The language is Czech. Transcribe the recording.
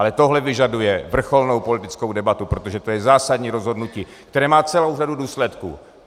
Ale tohle vyžaduje vrcholnou politickou debatu, protože to je zásadní rozhodnutí, které má celou řadu důsledků.